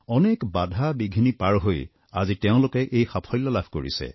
অনেক বাধাবিঘিনি পাৰ হৈ আজি তেওঁলোকে এই সাফল্য লাভ কৰিছে